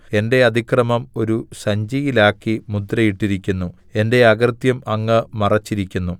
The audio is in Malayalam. എന്റെ അതിക്രമം ഒരു സഞ്ചിയിലാക്കി മുദ്രയിട്ടിരിക്കുന്നു എന്റെ അകൃത്യം അങ്ങ് മറച്ചിരിക്കുന്നു